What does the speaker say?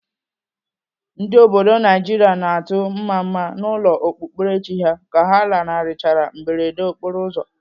Ndị obodo Naijiria na-atụ mmamma n'ụlọ okpukperechi ha ka ha lanarịchara mberede okporoụzọ.